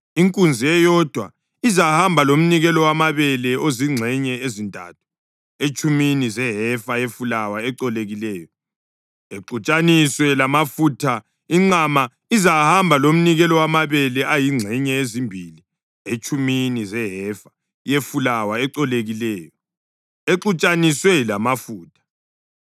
Inkunzi eyodwa izahamba lomnikelo wamabele ozingxenye ezintathu etshumini zehefa yefulawa ecolekileyo exutshaniswe lamafutha; inqama izahamba lomnikelo wamabele ayingxenye ezimbili etshumini zehefa yefulawa ecolekileyo exutshaniswe lamafutha;